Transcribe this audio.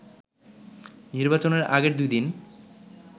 নির্বাচনের আগের দুই দিন